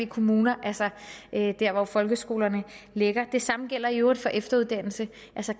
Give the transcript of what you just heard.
kommuner altså der hvor folkeskolerne ligger det samme gælder i øvrigt for efteruddannelse